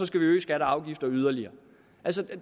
skal øge skatter og afgifter yderligere